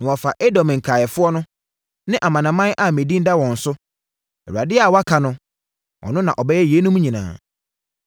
na wɔafa Edom nkaeɛfoɔ no, ne amanaman a me din da wɔn so.” Awurade a waka no, ɔno na ɔbɛyɛ yeinom nyinaa.